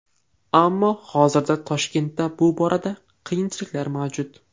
Ammo hozirda Toshkentda bu borada qiyinchiliklar mavjud.